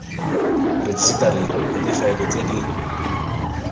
rejisetareng ya difaele tse di